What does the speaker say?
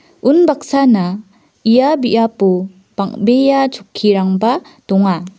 unbaksana ia biapo bang·bea chokkirangba donga.